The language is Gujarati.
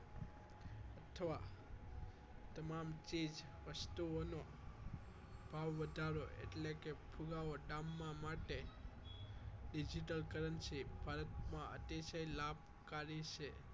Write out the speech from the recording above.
અથવા તમામ ચીઝ વસ્તુઓનો ભાવ વધારો એટલે પુરાવો digital currency ભારતમાં અતિશય લાભ કારી છે